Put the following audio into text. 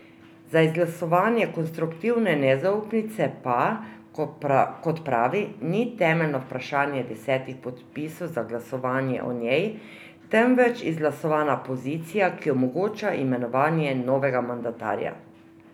Za izglasovanje konstruktivne nezaupnice pa, kot pravi, ni temeljno vprašanje desetih podpisov za glasovanje o njej, temveč izglasovana pozicija, ki omogoča imenovanje novega mandatarja.